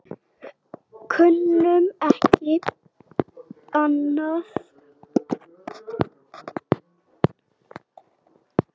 Kunnum ekki annað.